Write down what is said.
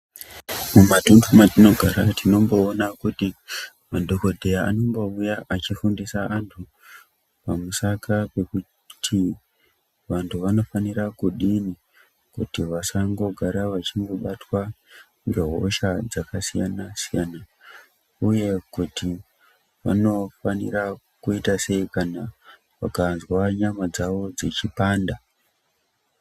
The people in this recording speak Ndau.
Mumatunhu mwatinogara tinomboona kuti madhokodheya anombouya achifundisa antu pamusaka pekuti vantu vanofanira kudini kuti vasangogara vachibatwa ngehosha dzakasiyana siyana uye kuti vanofanire kuita sei kana vakazwa nyama dzavo dzeipanda.